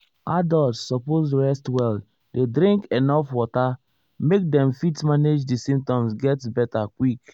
adults suppose rest well dey drink enuf water make dem fit manage di symptoms get beta quick.